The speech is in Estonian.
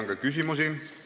Teile on küsimusi.